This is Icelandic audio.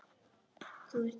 Að skoða fólkið.